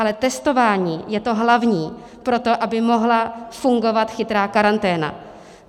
Ale testování je to hlavní pro to, aby mohla fungovat chytrá karanténa.